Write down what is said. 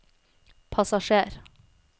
passasjer